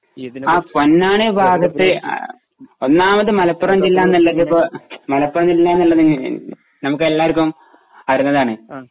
ആ പൊന്നാനി ഭാഗത്തു ആ ആ ഒന്നാമത് മലപ്പുറം ജില്ലന്നുള്ളതിപ്പൊ മലപ്പുറം ജില്ലന്നുള്ളത് നമുക്കെല്ലാവർക്കും അറീന്നതാണ്